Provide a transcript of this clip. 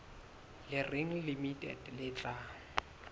le reng limited le tla